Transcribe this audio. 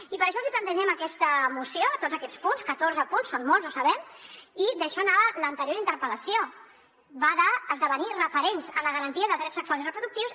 i per això els hi plantegem aquesta moció tots aquests punts catorze punts són molts ho sabem i d’això anava l’anterior interpel·lació va d’esdevenir referents en la garantia de drets sexuals i reproductius